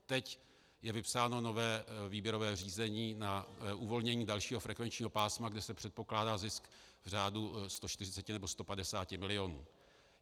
Teď je vypsáno nové výběrové řízení na uvolnění dalšího frekvenčního pásma, kde se předpokládá zisk v řádu 140 nebo 150 milionů.